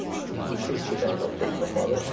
Biz iki istiqamətdə iş aparırıq.